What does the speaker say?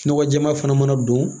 Nɔgɔ jɛɛma fana mana don